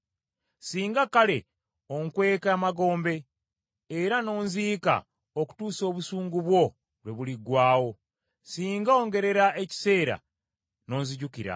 “Singa kale onkweka emagombe era n’onziika okutuusa obusungu bwo lwe buliggwaawo! Singa ongerera ekiseera n’onzijukira!